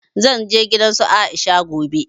Zan je gidan su Aisha gobe